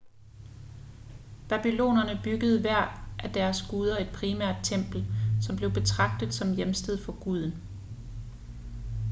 babylonerne byggede hver af deres guder et primært tempel som blev betragtet som hjemsted for guden